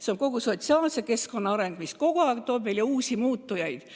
See on kogu sotsiaalse keskkonna areng, mis kogu aeg tekitab uusi muutujaid.